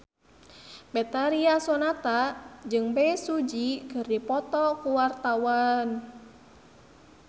Betharia Sonata jeung Bae Su Ji keur dipoto ku wartawan